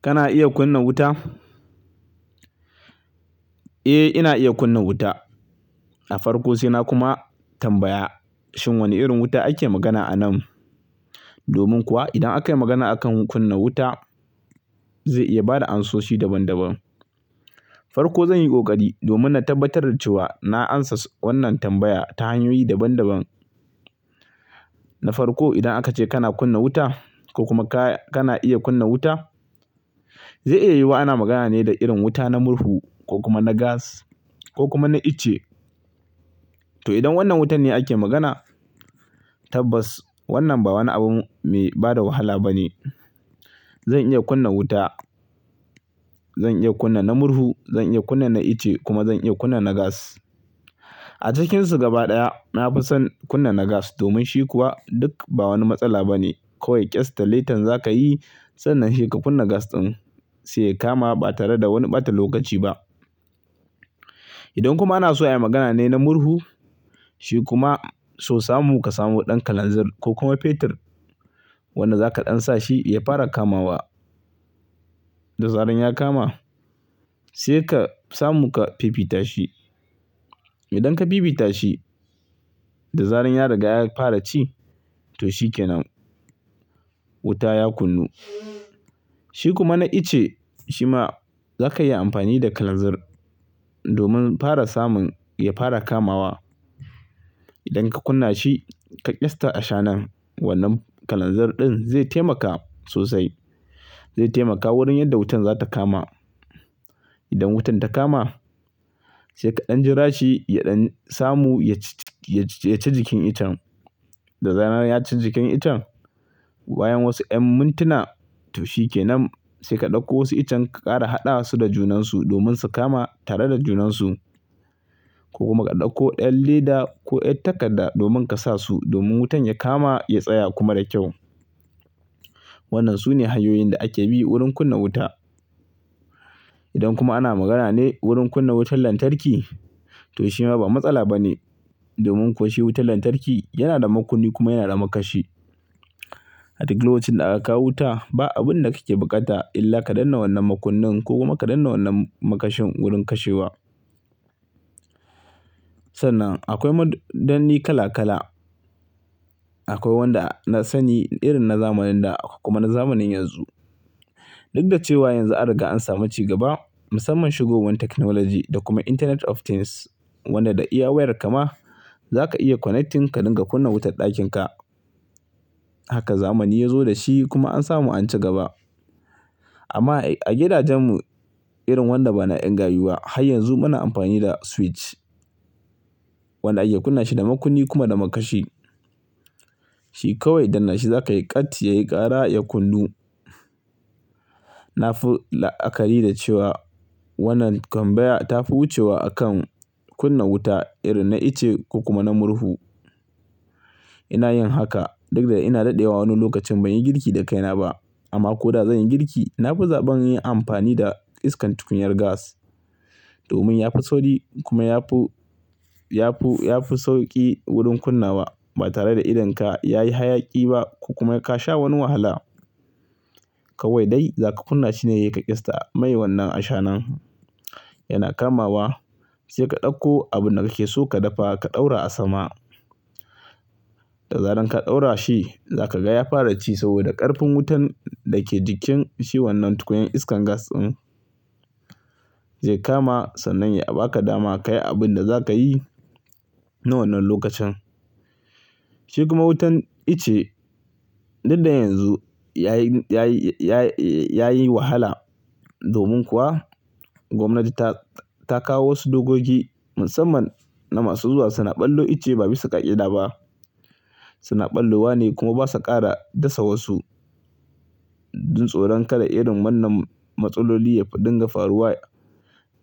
Kana iya kunna wuta? Eh, ina iya kunna wuta. A farko sai na kuma tambaya shin wane irin wuta ake magana anan. Domin kuwa idan aka yi magana akan kunna wuta, zai iya bada ansoshi daban daban. Farko zan yi ƙoƙari domin na tabbatar da cewa na amsa wannan tambaya ta hanyoyi daban daban. Na farko, idan aka ce kana kunna wuta ko kuma kana iya kunna wuta, zai iya yiwuwa ana magana ne da irin wuta na murhu ko kuma na gas ko kuma na ice. To idan wannan wutan ne ake magana, tabbas wannan ba wani abu mai bada wahala ba ne. Zan iya kunna wuta. Zan iya kunna na murhu, zan iya kunna na ice kuma zan iya kunna na gas. A cikinsu gaba ɗaya na fi son kunna na gas, domin shi kuwa duk ba wani matsala ba ne. Kowai ƙyasta lighter za ka yi sannan sai ka kunna gas ɗin, sai ya kama ba tare da wani ɓata lokaci ba. Idan kuma ana so ayi magana ne na murhu, shi kuma so samu ka samu ɗan kalanzir ko kuma fetur wanda zaka ɗan sa shi ya fara kamawa. Da zaran ya kama sai ka samu ka fifita shi. Idan ka fifita shi, da zaran ya riga ya fara ci, to shikenan wuta ya kunnu. Shi kuma na ice, shi ma zaka iya amfani da kalanzir domin fara samun ya fara kamawa. Idan ka kunna shi ka ƙyasta a shanan wannan kalanzir ɗin, zai taimaka sosai. Zai taimaka wurin yadda wutan za ta kama. Idan wutan ta kama sai ka ɗan jira shi ya ɗan samu ya ya ci jikin ichen. Da zaran ya ci jikin ichen, bayan wasu 'yan mintuna, to shikenan. Sai ka ɗauko wasu ichen ka ƙara haɗawa su da junansu domin su kama tare da junansu. Ko kuma ka ɗauko ɗan leda ko 'yar takadda domin ka sa su. Domin wutan ya kama, ya tsaya kuma da kyau. Wannan sune hanyoyin da ake bi wurin kunna wuta. Idan kuma ana magana ne wurin kunna wutar lantarki, to shi ma ba matsala ba ne. Domin kuwa shi wutar lantarki yana da makunnin kuma yana da makashi. A duk lokacin da aka kawo wuta, ba abun da kake buƙata illa ka danne wannan makunnin ko kuma ka danne wannan makashin wurin kashewa. Sannan akwai madanni kala kala. Akwai wanda na sani, irin na zamanin da kuma na zamanin yanzu. Duk da cewa yanzu an riga an samu cigaba, musamman shigowan technology da kuma internet of things, wanda da iya wayar ka ma za ka iya connecting ka dinga kunna wutar ɗakin ka. Haka zamani ya zo da shi kuma an samu an ci gaba. Amma a gidajen mu, irin wanda bana 'yan gayu ba, har yanzu muna amfani da switch. Wanda ake kunna shi da makunnin kuma da makashi. Shi kawai danne shi za ka yi, ƙat ya yi ƙara ya kunnu. Na fi la'akari da cewa wannan tambaya ta fi wucewa akan kunna wuta, irin na ice ko kuma na murhu. Ina yin haka duk da ina daɗewa wani lokacin ban yi girki da kaina ba. Amma ko da zan yi girki, na fi zaɓen yin amfani da iskan tukunyar gas. Domin ya fi sauri kuma ya fi, ya fi, ya fi sauƙi wurin kunna wa. Ba tare da idon ka yayi hayaƙi ba ko kuma ka sha wani wahala. Kawai dai zaka kunna shi ne, ka ƙyasta. Mai wannan a shanan yana kamawa. Sai ka ɗauko abun da kake so ka dafa, ka ɗaura a sama. Da zaran ka ɗaura shi, za ka ga ya fara ci saboda ƙarfin wutan da ke jikin shi wannan tukunyar iskar gas ɗin zai kama. Sannan ya a ba ka dama ka yi abun da za ka yi na wannan lokacin. Shi kuma wutan ice, duk da yanzu yayi, yayi, ya yi wahala. Domin kuwa gwamnati ta, ta kawo wasu dokoki musamman na masu zuwa suna ɓallo ice ba bisa ƙa'ida ba. Suna ballo wane kuma ba su ƙara dasa wasu. Jin tsoron kada irin wannan matsaloli ya fi dinga faruwa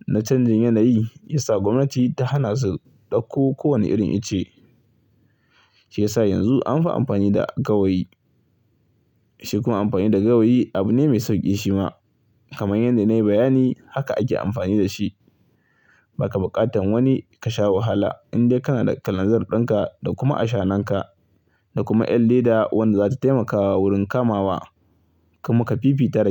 na canjin yanayi, ya sa gwamnati ta hana su ɗauko kowane irin ice. Shi ya sa yanzu an fi amfani da gawayi. Shi kuma amfani da gawayi abu ne mai sauƙi shi ma. Kamar yadda na yi bayani, haka ake amfani da shi. Ba ka buƙatan wani ka sha wahala in dai kana da kalanzir ɗin ka da kuma a shanan ka. Da kuma 'yar leda wadda zata taimaka wurin kamawa. Kuma ka fifitar da.